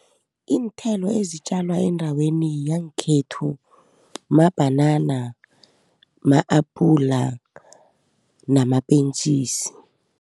Iinthelo ezitjalwa endaweni yangkhethu mabhanana, ma-apula namapentjisi.